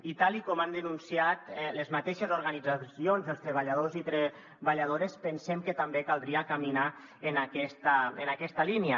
i tal com han denunciat les mateixes organitzacions els treballadors i treballadores pensem que també caldria caminar en aquesta línia